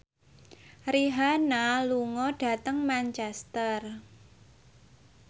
Rihanna lunga dhateng Manchester